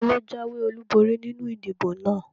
Taló jáwé ọlúborí nínu ìdìbò náà?